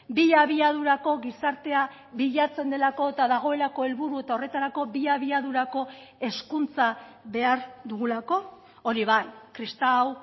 bi abiadurako gizartea bilatzen delako eta dagoelako helburu eta horretarako bi abiadurako hezkuntza behar dugulako hori bai kristau